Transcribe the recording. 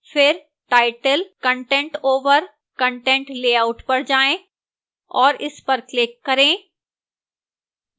फिर title content over content layout पर जाएं और इस पर click करें